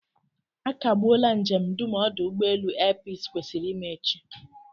A kagbuola njem dum ọdụ ụgbọelu air peace kwesịrị ime echi